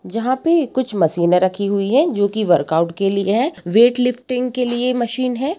जहाँ पे कुछ मशीनें रखी हुई हैं जो कि वर्क आउट के लिए हैं वेट लिफ्टिंग के लिए मशीन है।